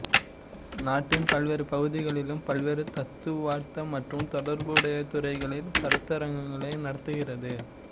நாட்டின் பல்வேறு பகுதிகளிலும் பல்வேறு தத்துவார்த்த மற்றும் தொடர்புடைய துறைகளில் கருத்தரங்குகளை நடத்துகிறது